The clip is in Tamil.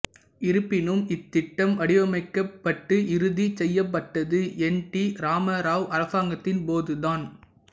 இருப்பினும் இத்திட்டம் வடிவமைக்கப்பட்டு இறுதி செய்யப்பட்டது என் டி ராமராவ் அரசாங்கத்தின் போது தான்